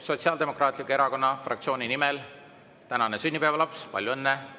Sotsiaaldemokraatliku Erakonna fraktsiooni nimel tänane sünnipäevalaps – palju õnne!